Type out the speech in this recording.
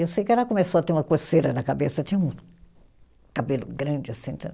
Eu sei que ela começou a ter uma coceira na cabeça, tinha um cabelo grande assim.